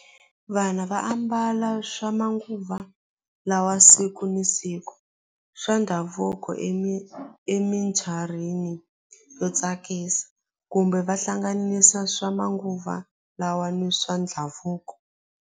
Vana va ambala swa manguva lawa siku ni siku swa ndhavuko yo tsakisa kumbe va hlanganisa swa manguva lawa ni swa ndhavuko.